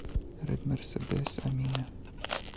редмерседес амине